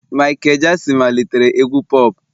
Michael Jackson malitere egwu pop